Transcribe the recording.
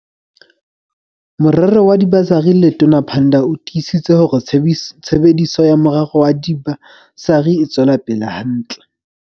Morero wa dibasari Letona Pandor o tiisitse hore tshebediso ya morero wa diba sari e tswela pele hantle.